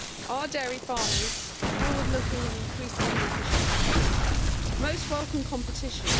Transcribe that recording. Our dairy farmers are forward looking and increasingly efficient. Most welcome competition.